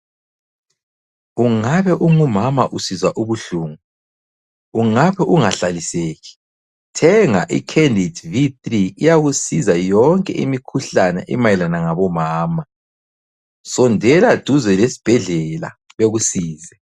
Ungabe ungumama usizwa ubuhlungu, ungabe ungahlaliseki, thenga i- Candid V3 iyakusiza yonke imikhuhlane emayelana ngabomama. Sondela duze lesibhedlela bekusize.